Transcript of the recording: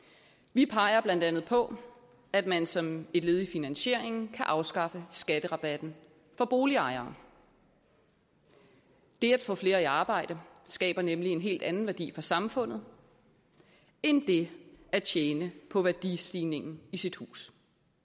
vi peger blandt andet på at man som et led i finansieringen kan afskaffe skatterabatten for boligejere det at få flere i arbejde skaber nemlig en helt anden værdi for samfundet end det at tjene på værdistigningen i sit hus